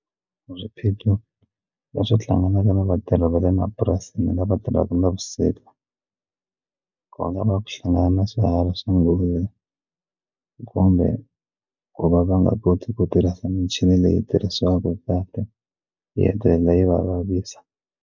Swiphiqo leswi hlanganaka na vatirhi va le mapurasini lava tirhaka navusiku ku nga va ku hlangana na swiharhi swa nghozi kumbe ku va va nga koti ku tirhisa michini leyi tirhisiwaku kahle yi hetelela yi va vavisa.